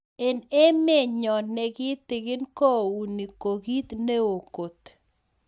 Eng emeet nyoo negitikin kounii kokiit neoo koot